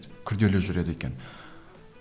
күрделі жүреді екен